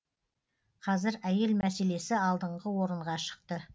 қазір әйел мәселесі алдыңғы орынға шықты